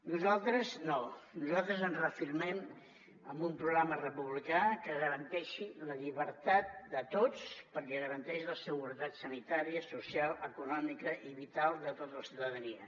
nosaltres no nosaltres ens reafirmem amb un programa republicà que garanteixi la llibertat de tots perquè garanteix la seguretat sanitària social econòmica i vital de tota la ciutadania